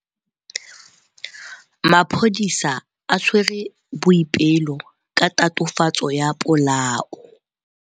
Maphodisa a tshwere Boipelo ka tatofatsô ya polaô.